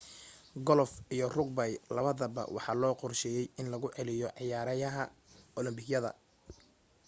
golof iyo rugby labadaba waxaa loo qorsheeyay in lagu celiyo ciyaaraha olombikada